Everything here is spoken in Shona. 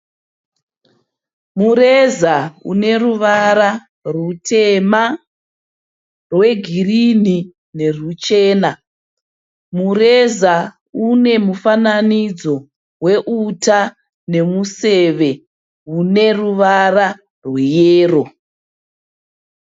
Mureza uneruvara rutema, rwegirini neruchena. Mureza unemufananidzo weuta nemuseve uneruvara rweyero.